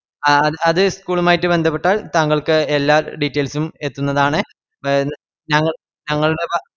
അത് school ഉമായിറ്റ് ബന്ധപ്പെട്ടാൽ താങ്കൾക്ക് എല്ലാ details ഉം എതുന്നതാണ് ഞങ്ങ ഞങ്ങളുടേ ബാ